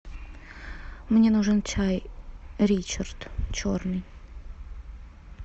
мне нужен чай ричард черный